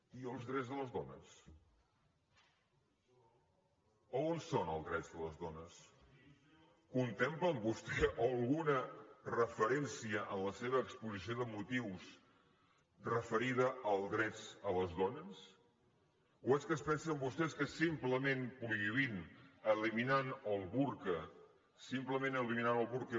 i els drets de les dones on són els drets de les dones contemplen vostès alguna referència en la seva exposició de motius referida als drets de les dones o és que es pensen vostès que simplement prohibint eliminant el burca simplement eliminant el burca